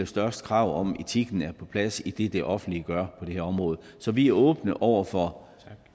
største krav om at etikken er på plads i det det offentlige gør på det her område så vi er åbne over for